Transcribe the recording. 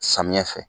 Samiyɛ fɛ